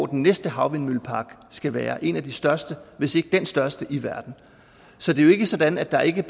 den næste havvindmøllepark skal være en af de største hvis ikke den største i verden så det er jo ikke sådan at der ikke